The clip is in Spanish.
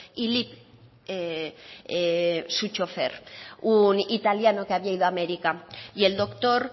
y lip su chófer un italiano que había ido a américa y el doctor